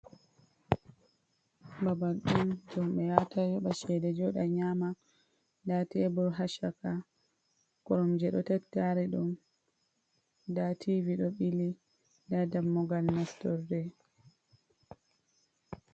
Babal on ɗum ɓe yata yoɓa shede joɗa nyama, nda tebur ha chaka koromje, ɗo tattari ɗum nda tivi ɗo ɓili nda dammugal naftorde.